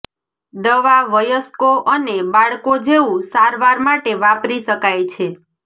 દવા વયસ્કો અને બાળકો જેવું સારવાર માટે વાપરી શકાય છે